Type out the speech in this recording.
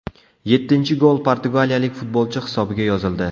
Yettinchi gol portugaliyalik futbolchi hisobiga yozildi.